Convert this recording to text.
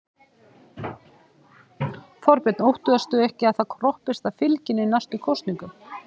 Þorbjörn: Óttastu ekki að það kroppist af fylginu í næstu kosningum?